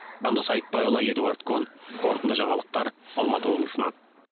жандос айтбайұлы эдуард кон қорытынды жаңалықтар алматы облысынан